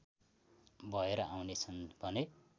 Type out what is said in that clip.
भएर आउनेछन् भने